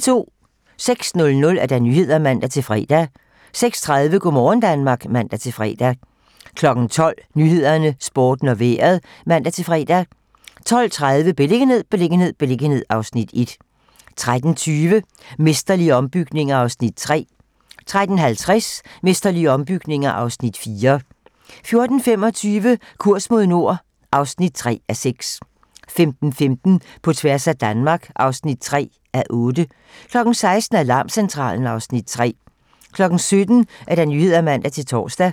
06:00: Nyhederne (man-fre) 06:30: Go' morgen Danmark (man-fre) 12:00: 12 Nyhederne, Sporten og Vejret (man-fre) 12:30: Beliggenhed, beliggenhed, beliggenhed (Afs. 1) 13:20: Mesterlige ombygninger (Afs. 3) 13:50: Mesterlige ombygninger (Afs. 4) 14:25: Kurs mod nord (3:6) 15:15: På tværs af Danmark (3:8) 16:00: Alarmcentralen (Afs. 3) 17:00: 17 Nyhederne (man-tor)